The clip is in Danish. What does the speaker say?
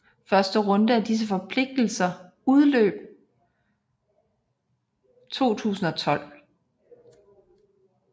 Første runde af disse forpligtelser udløb 2012